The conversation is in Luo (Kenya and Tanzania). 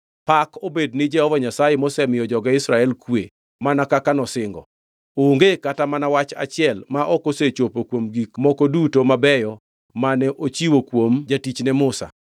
“Pak obed ni Jehova Nyasaye mosemiyo joge Israel kwe mana kaka nosingo. Onge kata mana wach achiel ma ok osechopo kuom gik moko duto mabeyo mane ochiwo kuom jatichne Musa.